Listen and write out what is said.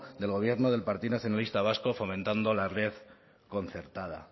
del gobierno del partido nacionalista vasco fomentando la red concertada